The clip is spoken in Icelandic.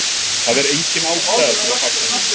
Það er engin ástæða til að fagna núna.